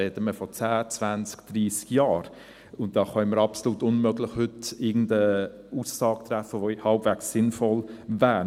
Da reden wir von zehn, zwanzig, dreissig Jahren, und da können wir heute absolut unmöglich irgendeine Aussage treffen, die halbwegs sinnvoll wäre.